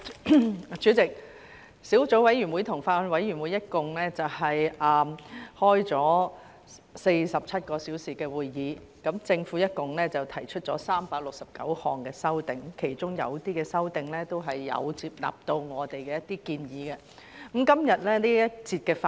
代理主席，小組委員會及法案委員會一共開了47小時會議，政府一共提出了369項修正案，其中有些修正案，都有接納我們的一些建議。